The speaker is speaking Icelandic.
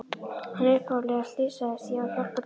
En upphaflega slysaðist ég á að hjálpa dýrum.